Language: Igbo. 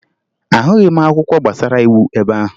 Ahụghị m akwụkwọ gbasara iwu ebe ahụ